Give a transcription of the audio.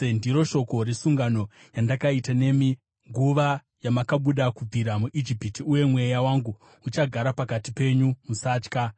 ‘Ndiro shoko resungano yandakaita nemi, nguva yamakabuda kubvira muIjipiti. Uye Mweya wangu uchagara pakati penyu. Musatya.’